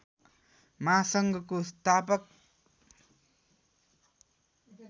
महासङ्घको संस्थापक